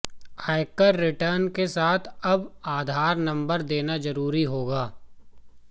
आयकर रिटर्न के साथ अब आधार नंबर देना जरूरी होगा